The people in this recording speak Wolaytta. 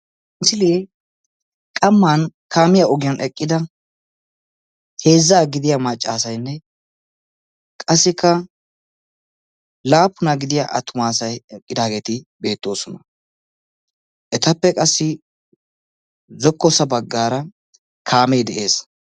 Misile qamman kaamiya ogiyaan eqqida heezza gidiya maccaassaynne qassikka laappuna gidiya attumassay eqqidaageeti beettoosona, etappe qassi zokkossa baggaara kaame de'ees.